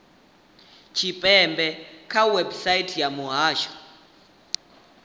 tshipembe kha website ya muhasho